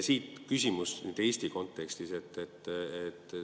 Siit küsimus Eesti kontekstis.